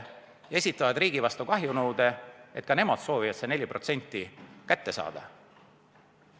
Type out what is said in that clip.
Nad esitavad riigi vastu kahjunõude, et ka nemad soovivad seda 4% kätte saada.